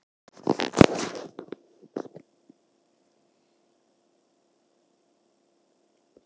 Stöðvaður undir áhrifum fíkniefna